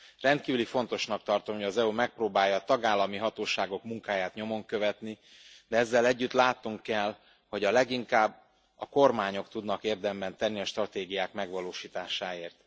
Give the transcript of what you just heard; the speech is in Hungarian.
Rendkívül fontosnak tartom, hogy az EU megpróbálja a tagállami hatóságok munkáját nyomon követni, de ezzel együtt látnunk kell, hogy a leginkább a kormányok tudnak érdemben tenni a stratégiák megvalósításáért.